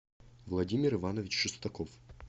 владимир иванович шестаков